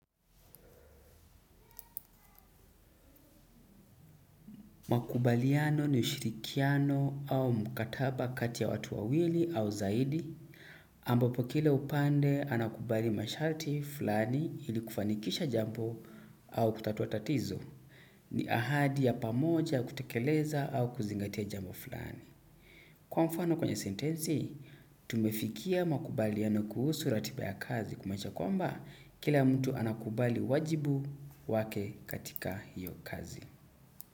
Makubaliano ni ushirikiano au mkataba kati ya watu wawili au zaidi, ambapo kila upande anakubali masharti flani ili kufanikisha jambo au kutatua tatizo, ni ahadi ya pamoja kutekeleza au kuzingatia jambo flani. Kwa mfano kwenye sentensi, tumefikia makubaliano kuhusu ratiba ya kazi kumanisha kwamba kila mtu anakubali wajibu wake katika hiyo kazi.